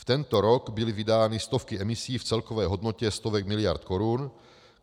V tento rok byly vydány stovky emisí v celkové hodnotě stovek miliard korun.